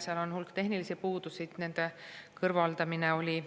Seal on hulk tehnilisi puudusi ja nende kõrvaldamine oli